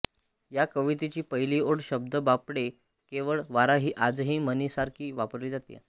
या कवितेची पहिली ओळ शब्द बापडे केवळ वारा ही आजही म्हणीसारखी वापरली जाते